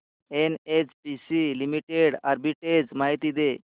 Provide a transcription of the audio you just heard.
NHPC limited arbitrage माहिती दे